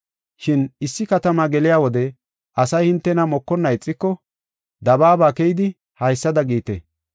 Shin issi katamaa geliya wode asay hintena mokonna ixiko dabaaba keyidi haysada giite: